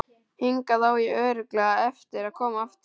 Hingað á ég örugglega eftir að koma aftur.